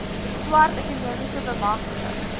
swart ekonomiese bemagtiging